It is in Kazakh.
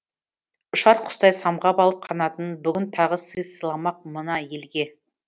ұшар құстай самғап алып қанатын бүгін тағы сый сыйламақ мына елге